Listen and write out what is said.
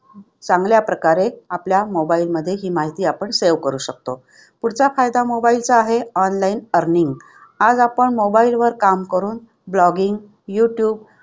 चांगल्या प्रकारे आपल्या mobile मध्ये ही माहिती आपण save करू शकतो. पुढचा फायदा mobile चा आहे online earning. आज आपण मोबाईलवर काम करून blogging, युट्युब,